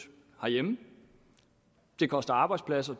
herhjemme det koster arbejdspladser